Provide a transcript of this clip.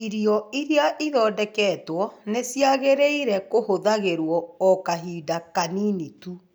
Irio iria ithondeketwo nĩ ciagĩrĩire kũhũthagĩrũo o kahinda kanini tu.